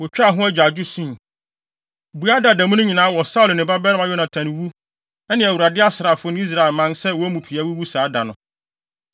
Wotwaa ho agyaadwo, sui, bua daa da mu no nyinaa wɔ Saulo ne ne babarima Yonatan wu ne Awurade asraafo ne Israelman sɛ wɔn mu pii wuwuu saa da no.